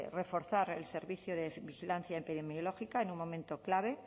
reforzar el servicio de vigilancia epidemiológica en un momento clave